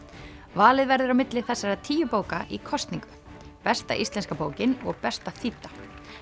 valið verður á milli þessara tíu bóka í kosningu besta íslenska bókin og besta þýdda